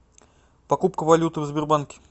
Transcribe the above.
покупка валюты в сбербанке